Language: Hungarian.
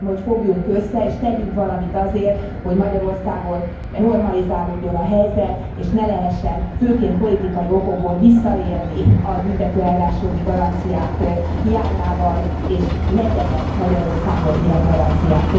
Kérem, hogy fogjunk össze, és tegyünk valamit azért, hogy Magyarországon normalizálódjon a helyzet, és ne lehessen, főként politikai okokból, visszaélni a büntetőeljárás jogi garanciáinak hiányával, és legyenek Magyarországon ilyen garanciák.